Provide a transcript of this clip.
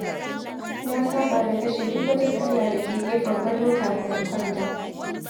Na saba da kashe duk wata fitila da ke gefen gado kafin in kwanta.